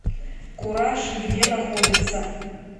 кураж где находится